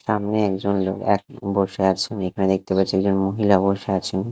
সামনে একজন লোক এক বসে আছেন এখানে দেখতে পাচ্ছি একজন মহিলা বসে আছেন।